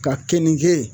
Ka keninke